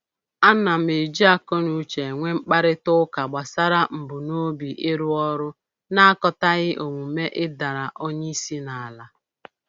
Ana m eji akọnuche enwe mkparịta ụka gbasara mbunobi ịrụ ọrụ na-akatọghị omume ịdara onye isi n'ala